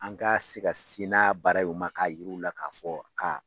An ka se ka sin n'a baaraw ye u ma k'a yir'u la k'a fɔ aa